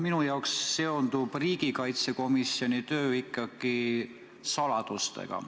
Minu jaoks seondub riigikaitskomisjoni töö ikkagi saladustega.